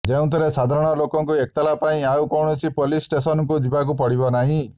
ଯେଉଁଥିରେ ସାଧାରଣ ଲୋକଙ୍କୁ ଏତଲା ପାଇଁ ଆଉ କୌଣସି ପୋଲିସ ଷ୍ଟେସନକୁ ଜିବାକୁ ପଡିବ ନାହିଁ